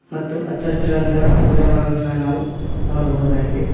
ಮತ್ತು ಅಚ್ಚ ಹಸಿರಾದಂತಹ ಗಿಡಮರಗಳ ಸಹ ನಾವು ನೋಡಬಹುದಾಗಿದೆ.